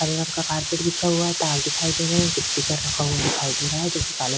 हरे रंग का कारपेट बिछा हुआ है तार दिखाई दे रहें हैं। एक स्पीकर रखा हुआ दिखाई दे रहा है जो कि काले रंग --